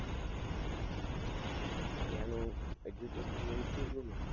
ત્યાનું education